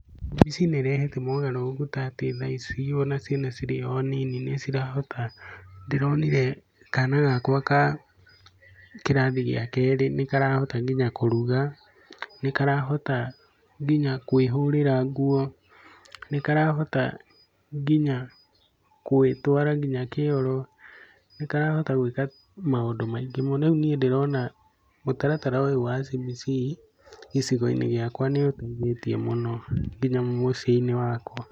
CBC nĩ ĩrehete mogarũrũku ta atĩ thaa ici ona ciana cirĩ o a nini nĩ cirahota, ndĩronire kana gakwa ka kĩrathi gĩa kerĩ nĩ karahota ngina kũruga, nĩ karahota nginya kwĩhũrĩra nguo, nĩ karahota nginya gwĩtwara nginya kĩoro, nĩ karahota gwĩka maũndũ maingĩ mũno. Rĩu niĩ ndĩrona mũtaratara ũyu wa CBC gĩcigo-inĩ gĩakwa nĩ ũteithĩtie mũno nginya mũciĩ-inĩ wakwa.